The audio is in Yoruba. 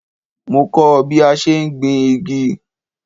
Mo kọ́ ọ́ bí a ṣe ń gbin igi